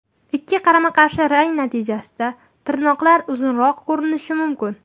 Ikki qarama-qarshi rang natijasida tirnoqlar uzunroq ko‘rinishi mumkin.